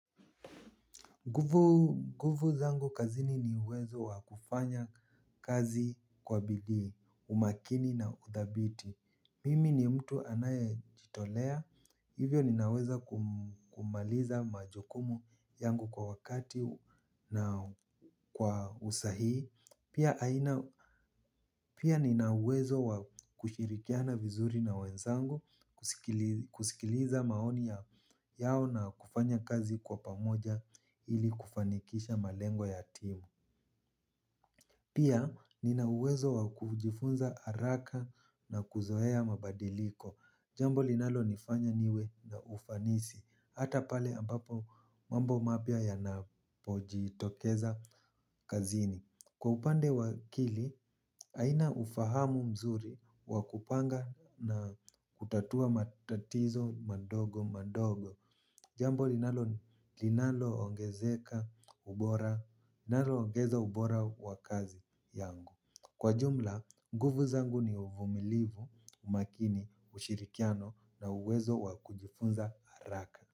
Nguvu zangu kazini ni uwezo wa kufanya kazi kwa bidii, umakini na udhabiti. Mimi ni mtu anaye jitolea, hivyo ninaweza kumaliza majukumu yangu kwa wakati na kwa usahihi. Pia nina uwezo wa kushirikiana vizuri na wenzangu, kusikiliza maoni yao na kufanya kazi kwa pamoja ili kufanikisha malengo ya timu. Pia nina uwezo wa kujifunza araka na kuzoea mabadiliko. Jambo linalo nifanya niwe na ufanisi. Hata pale ambapo mambo mapya yanapojitokeza kazini. Kwa upande wa akili, haina ufahamu mzuri wa kupanga na kutatua matatizo mandogo mandogo. Jambo linalo ongezeka ubora, linalo ongeza ubora wa kazi yangu. Kwa jumla, nguvu zangu ni uvumilivu, umakini, ushirikiano na uwezo wa kujifunza haraka.